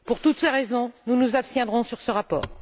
Pour toutes ces raisons, nous nous abstiendrons sur ce rapport.